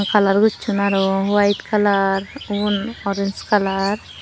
colour gusson aro white colour ubun orange colour.